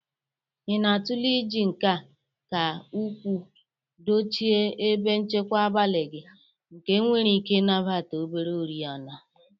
Ị na-atụle iji nke ka ukwuu dochie ebe nchekwa abalị gị nke nwere ike ịnabata obere oriọna.